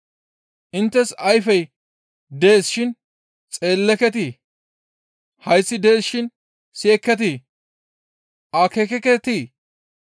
Inttes ayfey dees shin xeelleketii? Hayththi dees shin siyekketii? Akeekekketii?